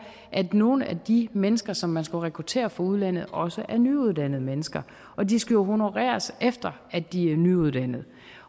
at nogle af de mennesker som man skal rekruttere fra udlandet også er nyuddannede mennesker de skal jo honoreres efter at de er nyuddannede